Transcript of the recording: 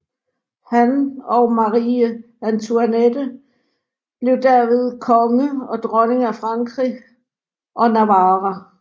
Han og Marie Antoinette blev dermed konge og dronning af Frankrig og Navarra